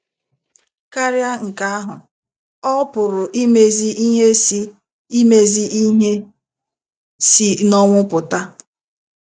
Karịa nke ahụ, ọ pụrụ imezi ihe si imezi ihe si n'ọnwụ pụta.